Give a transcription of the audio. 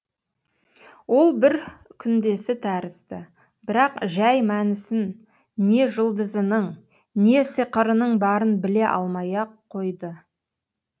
ол бір күндесі тәрізді бірақ жай мәнісін не жұлдызының не сиқырының барын біле алмай ақ қойды